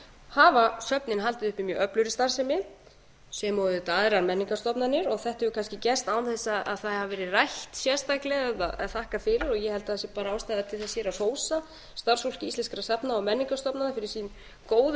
hafa söfnin haldi uppi mjög öflugri starfsemi sem og auðvitað aðrar menningarstofnanir þetta hefur kannski gert án þess að það hafi verið rætt sérstaklega eða þakkað fyrir ég held að það sé bara ástæða til þess hér að hrósa starfsfólki íslenskra safna og menningarstofnana fyrir sín góðu